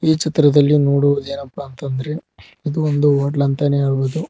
ಈ ಚಿತ್ರದಲ್ಲಿ ನೋಡುವುದು ಏನಪ್ಪಾ ಅಂತ ಅಂದ್ರೆ ಇದು ಒಂದು ಹೊಟ್ಲು ಅಂತ ನೆ ಹೇಳಬಹುದು.